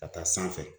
Ka taa sanfɛ